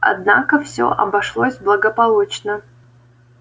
однако всё обошлось благополучно